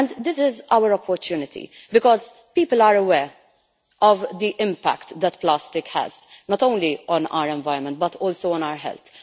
This is our opportunity because people are aware of the impact that plastic has, not only on our environment but also on our health.